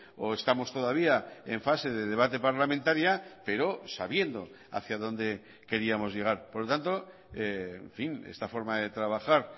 o estamos todavía en fase de debate parlamentaria pero sabiendo hacia dónde queríamos llegar por lo tanto en fin esta forma de trabajar